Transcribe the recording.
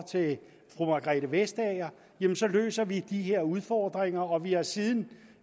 fru margrethe vestager løser løser vi de her udfordringer og vi har siden